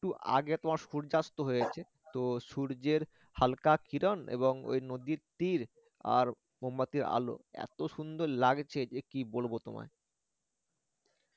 two আগে তোমার সূর্যাস্ত হয়েছে তো সূর্যের হালকা কিরণ এবং ঐ নদীর তীড় আর মোমবাতির আলো এত সুন্দর লাগছিল যে কি বলবো তোমায়